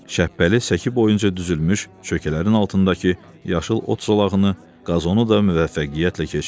Şəbbəli səki boyunca düzülmüş çökələrin altındakı yaşıl ot zolağını, qazonu da müvəffəqiyyətlə keçdi.